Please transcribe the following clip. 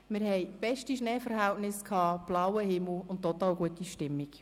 Wir hatten beste Schneeverhältnisse, blauen Himmel und total gute Stimmung.